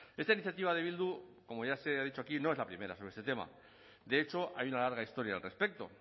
esta iniciativa de bildu como ya se ha dicho aquí no es la primera sobre este tema de hecho hay una larga historia al respecto